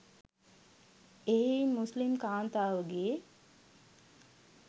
එහෙයින් මුස්‌ලිම් කාන්තාවගේ